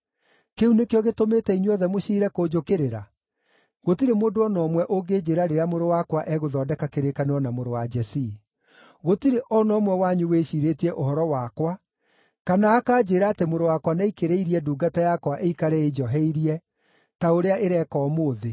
Kĩu nĩkĩo gĩtũmĩte inyuothe mũciire kũnjũkĩrĩra? Gũtirĩ mũndũ o na ũmwe ũngĩnjĩĩra rĩrĩa mũrũ wakwa egũthondeka kĩrĩkanĩro na mũrũ wa Jesii. Gũtirĩ o na ũmwe wanyu wĩciirĩtie ũhoro wakwa kana akanjĩĩra atĩ mũrũ wakwa nĩaikĩrĩirie ndungata yakwa ĩikare ĩnjoheirie, ta ũrĩa ĩreeka ũmũthĩ.”